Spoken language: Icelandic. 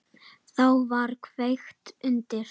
Þá var kveikt undir.